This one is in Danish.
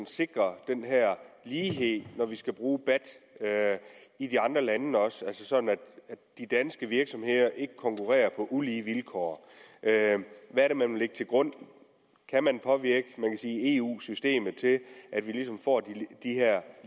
sikre den lighed når vi også skal bruge bat i de andre lande så de danske virksomheder ikke konkurrerer på ulige vilkår hvad er det man vil lægge til grund kan man påvirke eu systemet til at vi får de her